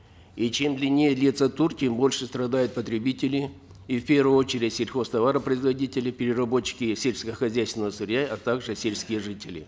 и чем длиннее длится тур тем больше страдают потребители и в первую очередь сельхозтоваропроизводители переработчики сельскохозяйственного сырья а также сельскте жители